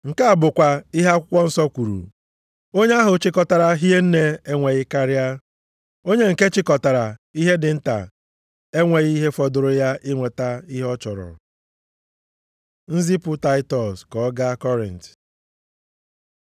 Nke a bụkwa ihe akwụkwọ nsọ kwuru, “Onye ahụ chịkọtara hie nne enweghị karịa. Onye nke chịkọtara ihe dị nta enweghị ihe fọdụrụ ya inweta ihe ọ chọrọ.” + 8:15 \+xt Ọpụ 16:18\+xt* Nzipụ Taịtọs ka ọ gaa Kọrint